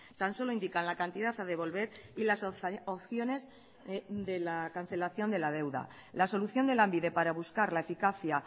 tan solo indican la cantidad a devolver y las opciones de la cancelación de la deuda la solución de lanbide para buscar la eficacia